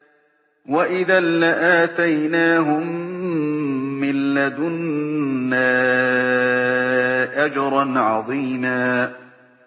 وَإِذًا لَّآتَيْنَاهُم مِّن لَّدُنَّا أَجْرًا عَظِيمًا